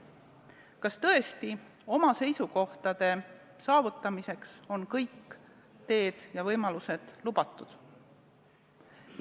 Kas tõesti oma eesmärkide saavutamiseks on kõik teed ja võimalused lubatud?